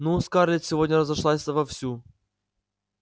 ну скарлетт сегодня разошлась вовсю